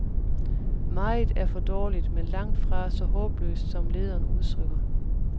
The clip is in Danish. Meget er for dårligt, men langtfra så håbløst som lederen udtrykker.